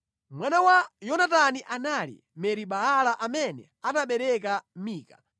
Mwana wa Yonatani anali Meri-Baala, amene anabereka Mika.